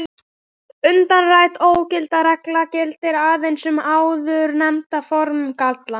Umrædd ógildingarregla gildir aðeins um áðurnefnda formgalla.